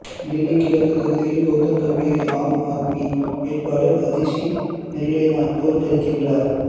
டெல்லி கிழக்கு தொகுதியில் கவுதம் காம்பீரை ஆம் ஆத்மி வேட்பாளர் அதிஷி மெர்லெனா தோற்கடிக்கின்றார்